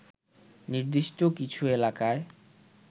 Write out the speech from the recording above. নির্দিষ্ট কিছু এলাকায়